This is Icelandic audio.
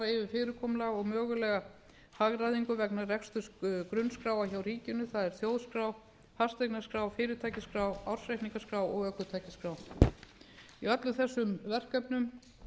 fyrirkomulag og mögulega hagræðingu vegna reksturs grunnskráa hjá ríkinu það er þjóðskrá fasteignaskrá fyrirtækjaskrá ársreikningaskrá og ökutækjaskrá í öllum þessum verkefnum